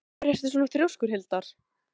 Af hverju ertu svona þrjóskur, Hildar?